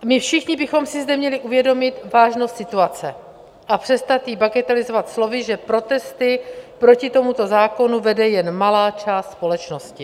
My všichni bychom si zde měli uvědomit vážnost situace a přestat ji bagatelizovat slovy, že protesty proti tomuto zákonu vede jen malá část společnosti.